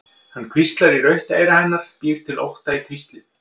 Hann hvíslar í rautt eyra hennar, býr til ótta í hvíslið.